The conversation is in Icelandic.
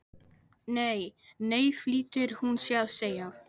Nei, nei flýtir hún sér að segja.